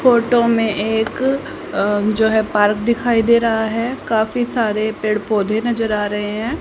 Photo में एक अं जो है पार्क दिखाई दे रहा है काफी सारे पेड़ पौधे नजर आ रहे हैं।